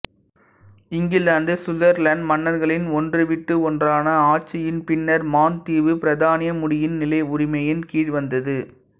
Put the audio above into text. England Scotland மன்னர்களின் ஒன்றுவிட்டு ஒன்றான ஆட்சியின் பின்னர் மாண் தீவு பிரித்தானிய முடியின் நிலைவுரிமையின் கீழ் வந்தது